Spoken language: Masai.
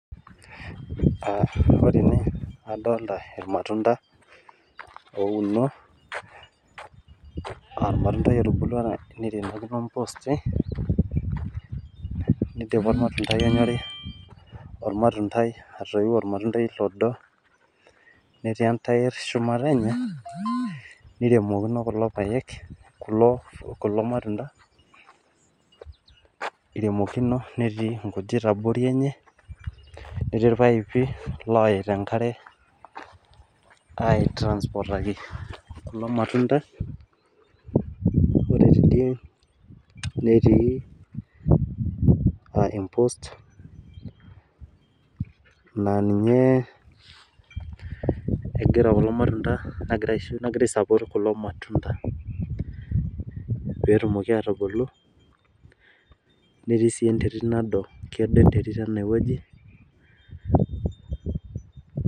Ore ene adoolta imatunda oouno, o.atundai otubulua neirinakino mposti. Neidipa omatundai onyorri, ormatundai atoyieu ormatundai odo, netii entair shumata enye, neiremokino kulo payek, kulo matunda eiremokino netii nkujit abori enye netii irpaipi ooyaita enkare aitransportaki kulo matunda . Ore teidie netii aah empost naa ninye egira kulo matunda nagira aisupport kulo matunda peetumoki aatubulu. Netii sii enterit nado, kedo enterit ene wueji